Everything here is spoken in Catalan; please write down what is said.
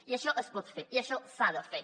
i això es pot fer i això s’ha de fer